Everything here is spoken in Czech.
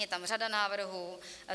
Je tam řada návrhů.